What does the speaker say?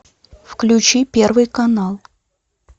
включи первый канал